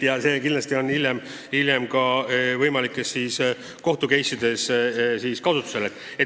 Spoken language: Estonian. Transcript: Ja see küsimus esitatakse kindlasti hiljem ka võimalikes kohtu-case'ides.